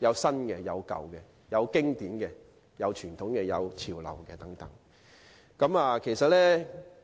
既有新的，也有舊的；有經典的，也有傳統的，亦有緊貼潮流